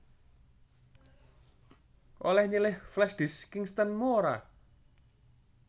Oleh nyilih flashdisk Kingston mu ora?